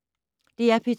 DR P2